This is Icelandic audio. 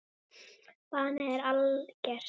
Bannið er algert.